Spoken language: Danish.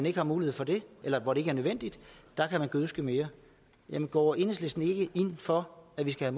ikke er mulighed for det eller hvor det ikke er nødvendigt kan man gødske mere jamen går enhedslisten ikke ind for at vi skal